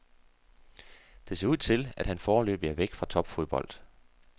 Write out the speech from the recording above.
Det ser ud til, at han foreløbigt er væk fra topfodbold.